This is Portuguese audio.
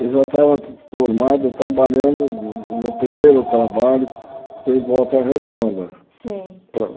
Eu já estava formado trabalhando, o meu primeiro trabalho foi em Volta Redonda. Sei Para